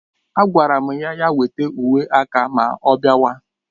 Agwara m ya weta uwe aka ma ọ bịawa